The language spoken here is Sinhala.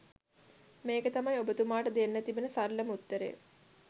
මේක තමයි ඔබතුමාට දෙන්න තිබෙන සරලම උත්තරය.